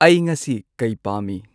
ꯑꯩ ꯉꯁꯤ ꯀꯩ ꯄꯥꯝꯃꯤ